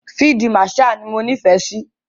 Field marshal ni mo nífẹ̀ẹ́ sí.